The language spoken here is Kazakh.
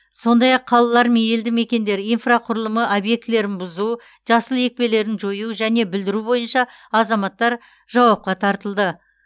сондай ақ қалалар мен елді мекендер инфрақұрылымы объектілерін бұзу жасыл екпелерін жою және бүлдіру бойынша азаматтар ажуапқа тартылды